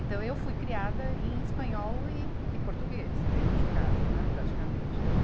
Então, eu fui criada em espanhol e, e português dentro de casa, né, praticamente. Então